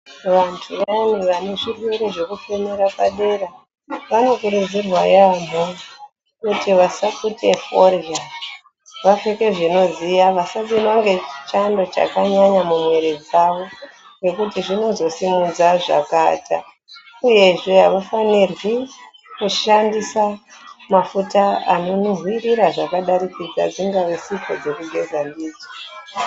Vantu vayani vane zvirwere zvekufemere padera vanokurudzirwa yaamho kuti vasapute forya vapfeke zvinodziya vasapindwa ngechando chakanyanya mumwiri dzawo nekuti zvinozosimudza zvakaata uyezve aufanirwi kushandisa mafuta anonhuhwira zvakadarikidza dzingaa sipo dzekugeza ndidzo.